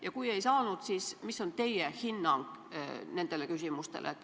Ja kui ei saanud, siis milline on teie hinnang?